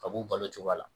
Ka b'u balo cogoya la